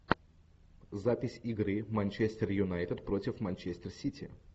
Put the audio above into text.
запись игры манчестер юнайтед против манчестер сити